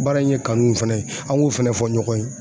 Baara in ye kanu ne fɛnɛ ye an k'o fɛnɛ fɔ ɲɔgɔn ye